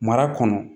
Mara kɔnɔ